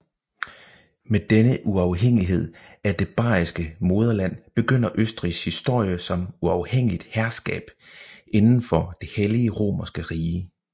Med denne uafhængighed af det bayeriske moderland begynder Østrigs historie som uafhængigt herskab indenfor det hellige romerske rige